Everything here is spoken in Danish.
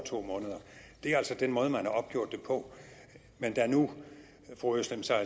to måneder det er altså den måde man har opgjort det på men da nu fru özlem sara